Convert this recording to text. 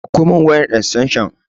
Ɗakko mun wayan estanshan